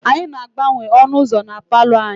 Anyị na-agbanwe ọnụ ụzọ na palọ anyị.